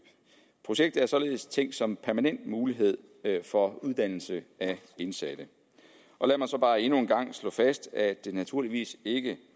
projektet er således tænkt som en permanent mulighed for uddannelse af indsatte lad mig så bare endnu en gang slå fast at det naturligvis ikke